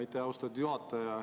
Aitäh, austatud juhataja!